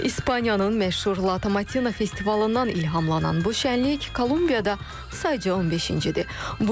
İspaniyanın məşhur Latamatina festivalından ilhamlanan bu şənlik Kolumbiyada sadəcə 15-cidir.